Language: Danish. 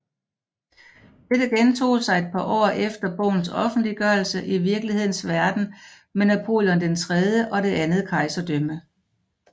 Dette gentog sig et par år efter bogens offentliggørelse i virkelighedens verden med Napoleon III og Det andet Kejserdømme